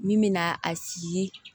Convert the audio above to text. Min bɛ na a sigi ye